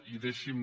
i deixi’m